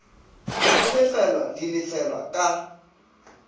go lefelwa di lefelwa ka